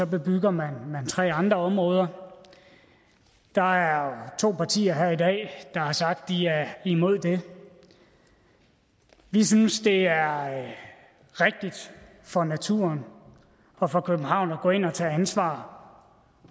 bebygger man tre andre områder der er to partier her i dag der har sagt at de er imod det vi synes det er rigtigt for naturen og for københavn at gå ind og tage ansvar